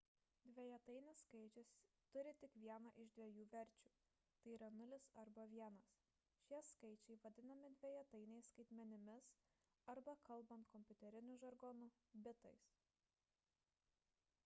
dvejetainis skaičius turi tik vieną iš dviejų verčių tai yra 0 arba 1 šie skaičiai vadinami dvejetainiais skaitmeninimis arba kalbant kompiuteriniu žargonu – bitais